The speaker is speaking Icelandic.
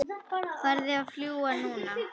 Farðu að fljúga, núna